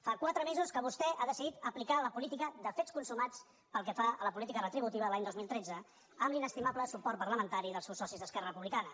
fa quatre mesos que vostè ha decidit aplicar la política de fets consu·mats pel que fa a la política retributiva l’any dos mil tretze amb l’inestimable suport parlamentari dels seus socis d’es·querra republicana